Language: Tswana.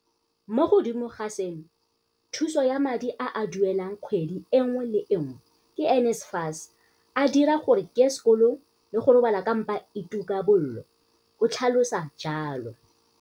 "Mo godimo ga seno, thuso ya madi a a duelelwang kgwedi e nngwe le e nngwe ke NSFAS a dira gore ke ye sekolong le go robala ka mpa e tuka bollo," o tlhalosa jalo.